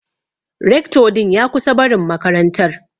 Recto din ya kusan barin makarantar.